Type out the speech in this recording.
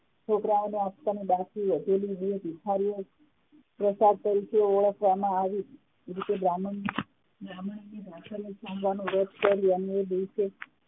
છોકરાઓને આપવાની બાકી વધેલી બે ભિખારીઓ પ્રસાદ તરીકે વ્રત કર્યું અને આ રીતે